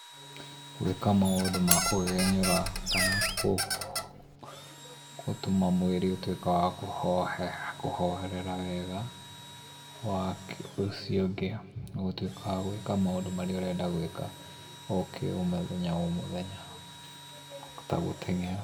Gũĩka maũndũ ma kũgegenyũra kana gũtũma mwĩrĩ ũtuĩke wa kũhorera wega na ũcio ũngĩ nĩ gũtuĩka wa gwĩka maũndũ marĩa ũrenda gwĩka ũkĩ ũ o mũthenya o mũthenya ta gũteng'era.